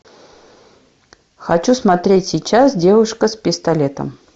хочу смотреть сейчас девушка с пистолетом